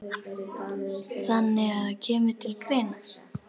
Þannig að það kemur til greina?